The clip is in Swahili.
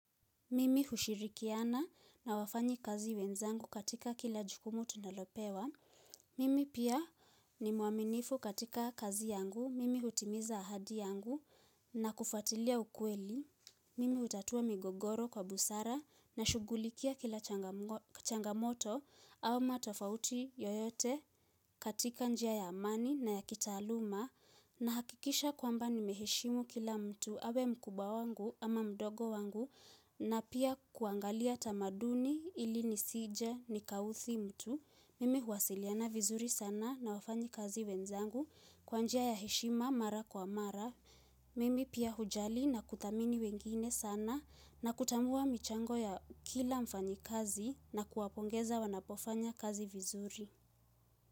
Mimi hushirikiana na wafanyi kazi wenzangu katika kila jukumu tunalopewa. Mimi pia ni muaminifu katika kazi yangu. Mimi hutimiza ahadi yangu na kufatilia ukweli. Mimi hutatua migogoro kwa busara na shugulikia kila changamoto au matofauti yoyote katika njia ya amani na ya kitaaluma. Na hakikisha kwamba ni meheshimu kila mtu awe mkubwa wangu ama mdogo wangu na pia kuangalia tamaduni ili nisije nikaudhi mtu. Mimi huasiliana vizuri sana na wafanyi kazi wenzangu kwanjia ya heshima mara kwa mara. Mimi pia hujali na kutamini wengine sana na kutambua michango ya kila mfanyi kazi na kuwapongeza wanapofanya kazi vizuri.